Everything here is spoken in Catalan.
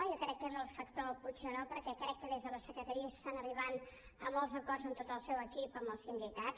jo crec que és el factor puigneró perquè crec que des de la secretaria s’està arribant a molts acords de tot el seu equip amb els sindicats